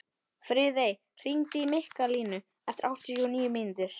Friðey, hringdu í Mikkalínu eftir áttatíu og níu mínútur.